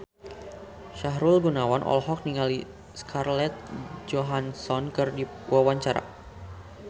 Sahrul Gunawan olohok ningali Scarlett Johansson keur diwawancara